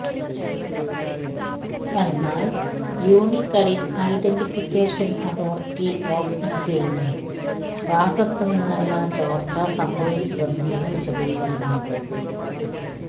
എന്നാല് unique identification authority of ഇന്ത്യയുടെ ഭാഗത്ത് നിന്നല്ല ചോര്ച്ച സംഭവിച്ചതെന്നാണ് വിശദീകരണം